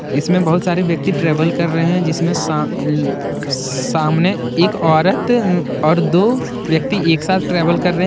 इसमें बहुत सारे व्यक्ति ट्रैवल कर रहे है जिसमें सामने एक औरत और दो व्यक्ति एक साथ ट्रैवल कर रहे है।